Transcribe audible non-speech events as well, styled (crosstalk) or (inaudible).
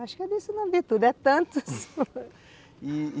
Acho que é disso não vê tudo, é tantos (laughs) e e